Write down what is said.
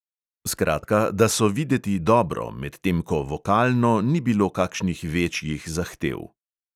Skratka, da so videti dobro, medtem ko vokalno ni bilo kakšnih večjih zahtev.